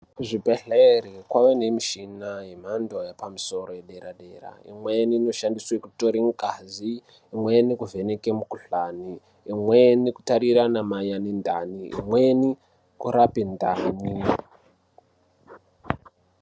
Kuzvibhehlere kwava nemishina yemhando yapamusoro yedera dera imweni inoshandiswe kutore ngazi, imweni kuvheneke makuhlani, imweni kutarira anamayani ndani imweni kurape ndani.